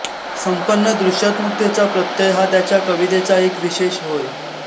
संपन्न दृश्यात्मकतेचा प्रत्यय हा त्याच्या कवितेचा एक विशेष होय